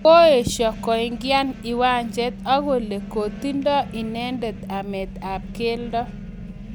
Koesho koingian iwanjet akole kotindoi inendet amet ap keldo